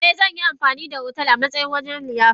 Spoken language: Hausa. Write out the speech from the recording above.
Eh, zan yi amfani da otal a matsayin wurin liyafar.